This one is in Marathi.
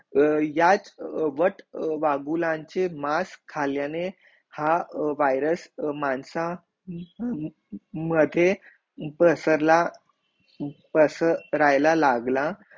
याच वत वागुलांचे मास खाल्याने हा वायरस माणसा मध्ये बसरला बसर लायला लागला